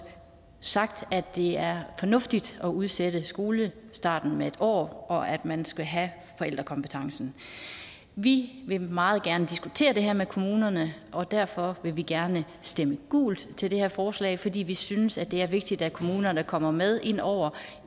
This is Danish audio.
sagt at det er fornuftigt at udsætte skolestarten med en år og at man skal have forældrekompetencen vi vil meget gerne diskutere det her med kommunerne og derfor vil vi gerne stemme gult til det her forslag fordi vi synes at det er vigtigt at kommunerne kommer med ind over